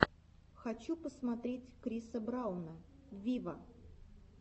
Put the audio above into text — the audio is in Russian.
хочу посмотреть криса брауна виво